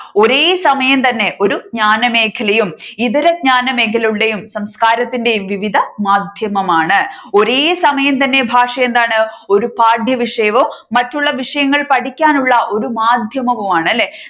ഒരേ സമയം തന്നെ ഒരു ജ്ഞാനമേഖലയും ഇത്തരജ്ഞാനമേഖലകളുടെയും സംസ്കാരത്തിന്റെയും വിവിധ മാധ്യമമാണ് ഒരേ സമയം തന്നെ ഭാഷ എന്താണ് ഒരു പാഠ്യവിഷയവും മറ്റുള്ള വിഷയങ്ങൾ പഠിക്കാനുള്ള ഒരു മാധ്യവുമാണ് അല്ലെ